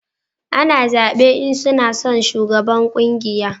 A na zabe in suna son shugaban ƙungiya